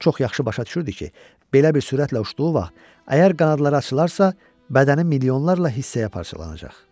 Çox yaxşı başa düşürdü ki, belə bir sürətlə uçduğu vaxt əgər qanadları açılarsa, bədəni milyonlarla hissəyə parçalanacaq.